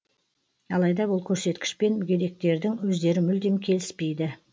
алайда бұл көрсеткішпен мүгедектердің өздері мүлдем келіспейді